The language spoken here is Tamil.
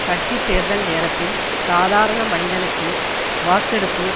கட்சி தேர்தல் நேரத்தில் சாதாரண மனிதனுக்கு வாக்கெடுப்பு